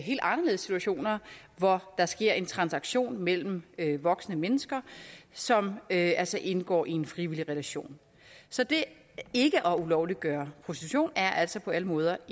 helt anderledes situationer hvor der sker en transaktion mellem voksne mennesker som altså indgår i en frivillig relation så det ikke at ulovliggøre prostitution er altså på alle måder